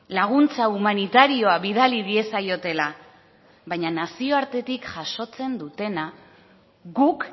laguntza humanitarioa bidali diezaiotela baina nazioartetik jasotzen dutena guk